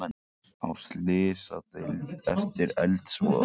Á slysadeild eftir eldsvoða